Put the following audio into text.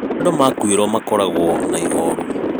Andũ makuĩrwo makóragwo na ihoru